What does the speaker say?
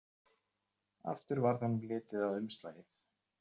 Aftur varð honum litið á umslagið.